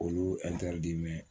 Olu